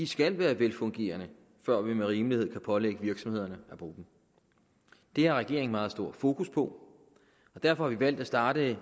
skal være velfungerende før vi med rimelighed kan pålægge virksomhederne at bruge dem det har regeringen meget stort fokus på og derfor har vi valgt at starte